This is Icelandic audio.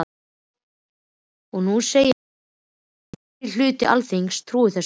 Og nú segið þið að meiri hluti Alþingis trúi þessu.